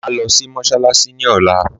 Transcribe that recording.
Màá lọ sí mọ́sálásí ní ọ̀la